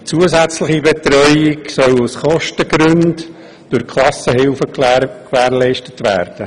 Die zusätzliche Betreuung soll aus Kostengründen durch Klassenhilfen gewährleistet werden.